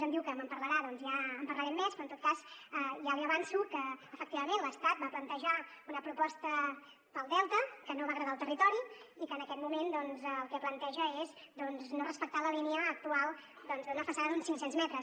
em diu que me’n parlarà doncs ja en parlarem més però en tot cas ja li avanço que efectivament l’estat va plantejar una proposta per al delta que no va agradar al territori i que en aquest moment el que planteja és no respectar la línia actual d’una façana d’uns cinc cents metres